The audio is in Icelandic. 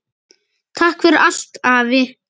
Takk fyrir allt afi.